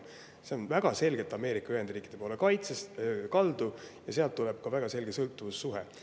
See kaitse on väga selgelt Ameerika Ühendriikide poole kaldu ja sealt tuleb ka väga selge sõltuvussuhe.